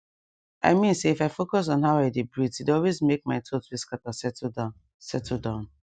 i mean say if i focus on how i dey breathee dey always make my thoughts wey scatter settle down settle down